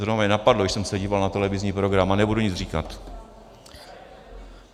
Zrovna mě napadlo, když jsem se díval na televizní program, a nebudu nic říkat.